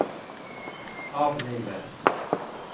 avlive